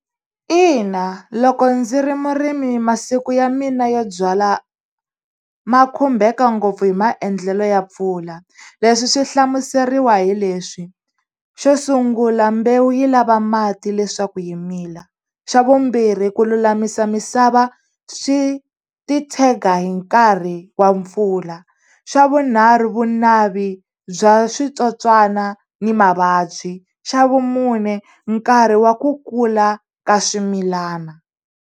Ina loko ndzi ri murimi masiku ya mina yo byala ma khumbeka ngopfu hi maendlelo ya pfula leswi swi hlamuseriwa hi leswi xo sungula mbewu yi lava mati leswaku yi mila xa vumbirhi ku lulamisa misava swi ti tshega hi nkarhi wa mpfula xa vunharhu vunavi bya switsotswana ni mavabyi xa vumune nkarhi wa ku kula ka swimilana.